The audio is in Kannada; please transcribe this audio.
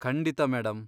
ಖಂಡಿತ, ಮೇಡಂ.